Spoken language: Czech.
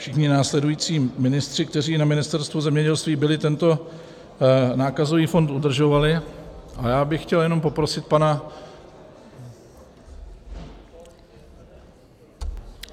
Všichni následující ministři, kteří na Ministerstvu zemědělství byli, tento nákazový fond udržovali a já bych chtěl jenom poprosit pana...